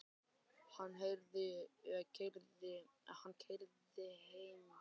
Hann keyrði mig heim og óskaði mér góðs gengis.